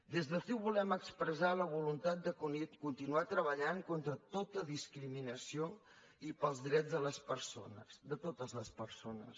des de ciu volem expressar la voluntat de continuar treballant contra tota discriminació i pels drets de les persones de totes les persones